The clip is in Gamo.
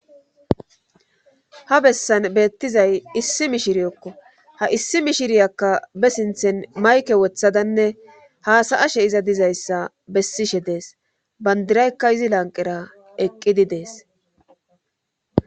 Ha bessan beettizay issi mishiriyokko ha issi mishiriyakka be sinthen mayke wothadanne haasaashe iza dizayssa bessishe dees bandiraykka izi lanqera eqqidi dees.